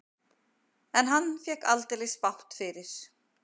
En hann fékk aldeilis bágt fyrir.